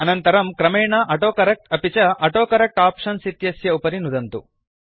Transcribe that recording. अनन्तरं क्रमेण ऑटोकरेक्ट अपि च ऑटोकरेक्ट आप्शन्स् इत्यस्य उपरि नुदन्तु